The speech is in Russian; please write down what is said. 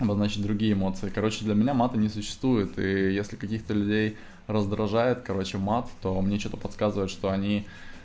обозначить другие эмоции короче для меня мата не существует и если каких-то людей раздражает короче мат то мне что-то подсказывает что они